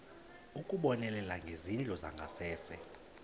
ukubonelela ngezindlu zangasese